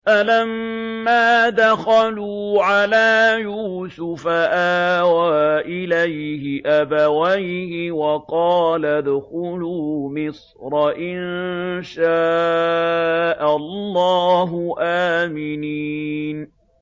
فَلَمَّا دَخَلُوا عَلَىٰ يُوسُفَ آوَىٰ إِلَيْهِ أَبَوَيْهِ وَقَالَ ادْخُلُوا مِصْرَ إِن شَاءَ اللَّهُ آمِنِينَ